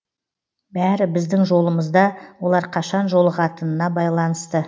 бәрі біздің жолымызда олар қашан жолығатынына байланысты